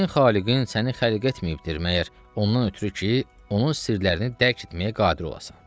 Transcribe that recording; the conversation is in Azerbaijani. Sənin xaliqin səni xəlq etməyibdir məyər, ondan ötrü ki, onun sirlərini dərk etməyə qadir olasan?